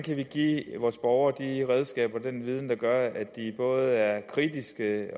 vi kan give vores borgere de redskaber og den viden der gør at de både er kritiske